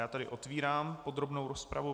Já tady otevírám podrobnou rozpravu.